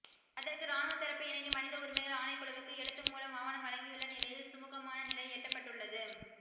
அதற்கு இராணுவத்தரப்பு இணங்கி மனித உரிமைகள் ஆணைக்குழுவுக்கு எழுத்துமூல ஆவணம் வழங்கியுள்ள நிலையில் சுமூகமான நிலை எட்டப்பட்டுள்ளது